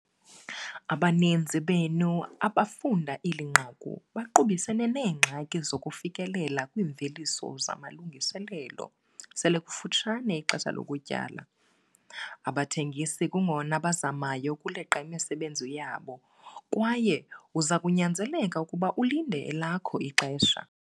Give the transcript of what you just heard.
Abaninzi benu, abafunda eli nqaku baqubisene neengxaki zokufikelela kwiimveliso zamalungiselelo, selikufutshane ixesha lokutyala. Abathengisi kungona bazamayo ukuleqa imisebenzi yabo kwaye uza kunyanzeleka ukuba ulinde elakho ixesha.